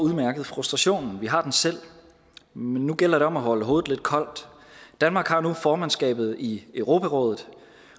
frustrationen vi har den selv men nu gælder det om at holde hovedet lidt koldt danmark har nu formandskabet i europarådet